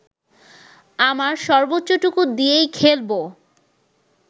আমার সর্বোচ্চটুকু দিয়েই খেলবো